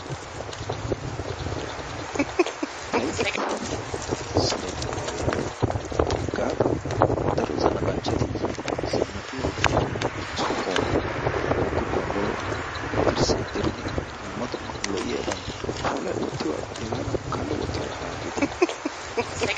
taytti saro xayoo hagee hagaadan daro zanaqanchchati yiidi zannaqqiyo sohuwa woykko gonggoluwa dirsaa diriddi dumma dumma lo'iyaban puulayi wottiyogaa aggidi laa hagaadan kalo wottiyoona laa hageeti